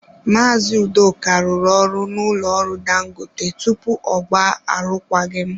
Maazị Udoka rụrụ ọrụ n'ụlọ ọrụ dangote tupu ọ gbaa arụkwaghịm.